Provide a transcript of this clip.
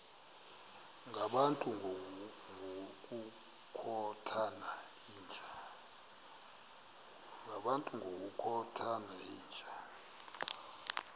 ngabantu ngokukhothana yinja